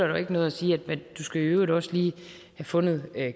jo ikke noget at sige du skal i øvrigt også lige have fundet